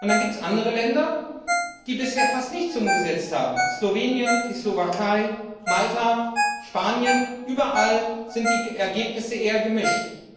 Und es gibt andere Länder, die bisher fast nichts umgesetzt haben Slowenien, die Slowakei, Malta, Spanien, überall sind die Ergebnisse eher gemischt.